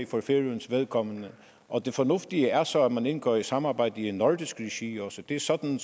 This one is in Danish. for færøernes vedkommende og det fornuftige er så at man også indgår i et samarbejde i nordisk regi regi det er sådan